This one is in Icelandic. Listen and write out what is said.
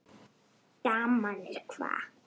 Daman er hvað.